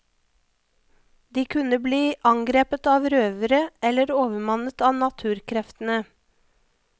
De kunne bli angrepet av røvere eller overmannet av naturkreftene.